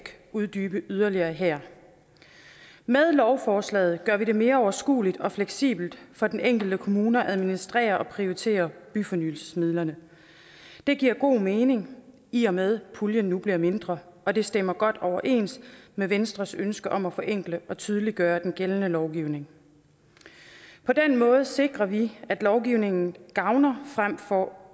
uddybe yderligere her med lovforslaget gør vi det mere overskueligt og fleksibelt for den enkelte kommune at administrere og prioritere byfornyelsesmidlerne det giver god mening i og med at puljen nu bliver mindre og det stemmer godt overens med venstres ønske om at forenkle og tydeliggøre den gældende lovgivning på den måde sikrer vi at lovgivningen gavner frem for